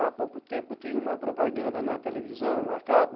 Há pouco tempo tinha uma propaganda na televisão, a cabo.